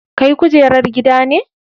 Kai kujerar gida ne.